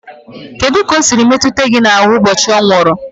Kedu ka o siri metụ gị n'ahụ ụbọchị ọ nwụrụ?